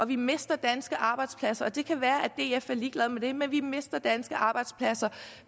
vi mister danske arbejdspladser og det kan være at df er ligeglad med det men vi mister danske arbejdspladser